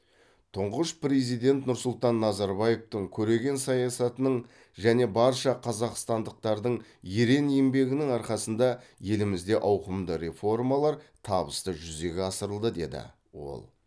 тұңғыш президент нұрсұлтан назарбаевтың көреген саясатының және барша қазақстандықтардың ерен еңбегінің арқасында елімізде ауқымды реформалар табысты жүзеге асырылды деді ол